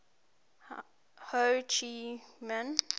ho chi minh